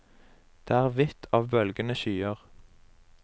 Det er hvitt av bølgende skyer.